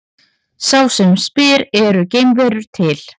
Sá sem spyr Eru geimverur til?